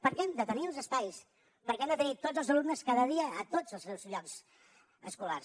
perquè hem de tenir els espais perquè hem de tenir tots els alumnes cada dia a tots els seus llocs escolars